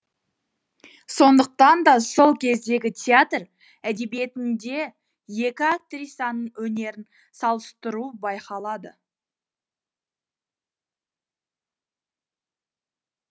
сондықтан да сол кездегі театр әдебиетінде екі актрисаның өнерін салыстыру байқалады